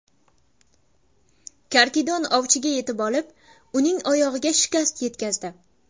Karkidon ovchiga yetib olib, uning oyog‘iga shikast yetkazdi.